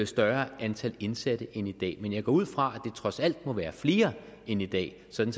større antal indsatte end i dag men jeg går ud fra det trods alt må være flere end i dag sådan